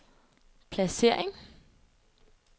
placering